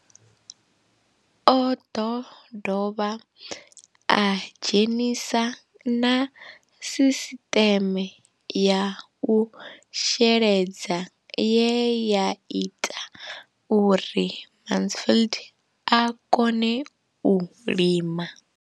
O ḓo dovha a dzhenisa na sisiṱeme ya u sheledza ye ya ita uri Mansfied a kone u lima.